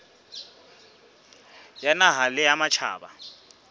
ya naha le ya matjhaba